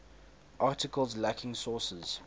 articles lacking sources